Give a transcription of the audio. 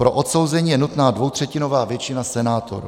Pro odsouzení je nutná dvoutřetinová většina senátorů.